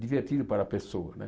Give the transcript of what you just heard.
divertido para a pessoa né.